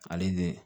Ale ni